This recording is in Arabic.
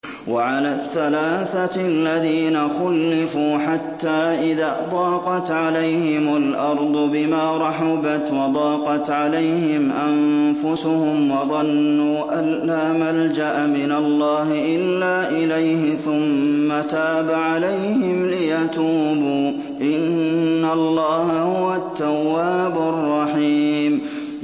وَعَلَى الثَّلَاثَةِ الَّذِينَ خُلِّفُوا حَتَّىٰ إِذَا ضَاقَتْ عَلَيْهِمُ الْأَرْضُ بِمَا رَحُبَتْ وَضَاقَتْ عَلَيْهِمْ أَنفُسُهُمْ وَظَنُّوا أَن لَّا مَلْجَأَ مِنَ اللَّهِ إِلَّا إِلَيْهِ ثُمَّ تَابَ عَلَيْهِمْ لِيَتُوبُوا ۚ إِنَّ اللَّهَ هُوَ التَّوَّابُ الرَّحِيمُ